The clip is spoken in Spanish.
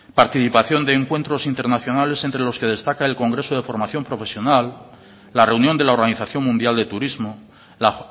participación de encuentros internacionales entre los que destaca el congreso de formación profesional la reunión de la organización mundial de turismo la